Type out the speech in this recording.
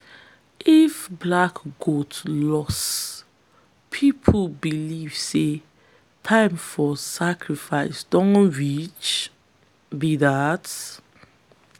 if black goat lost people believe say time for sacrifice don reach be dat.